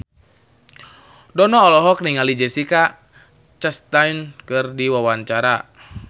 Dono olohok ningali Jessica Chastain keur diwawancara